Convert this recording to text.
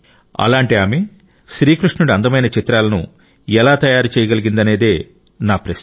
అలాంటి ఆమె శ్రీకృష్ణుడి అందమైన చిత్రాలను ఎలా తయారు చేయగలిగిందనే నా ప్రశ్న